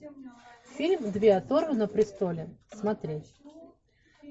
фильм две оторвы на престоле смотреть